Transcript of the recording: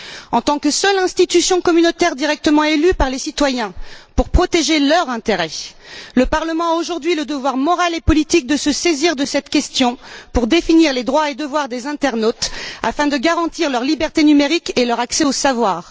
En tant que seule institution communautaire directement élue par les citoyens, pour protéger leur intérêt, le Parlement a aujourd'hui le devoir moral et politique de se saisir de cette question pour définir les droits et devoirs des internautes afin de garantir leur liberté numérique et leur accès au savoir.